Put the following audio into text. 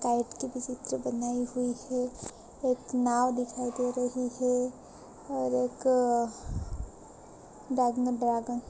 kite की भी चित्र बनाई हुई है एक नांव दिखाई दे रही है और एक